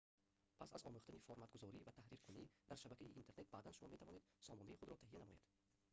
пас аз омӯхтани форматгузорӣ ва таҳриркунӣ дар шабакаи интернет баъдан шумо метавонед сомонаи худро таҳия намоед